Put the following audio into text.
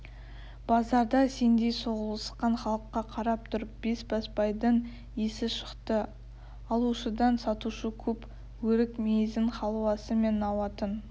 базарда сендей соғылысқан халыққа қарап тұрып бесбасбайдың есі шықты алушыдан сатушы көп өрік-мейізін халуасы мен науатын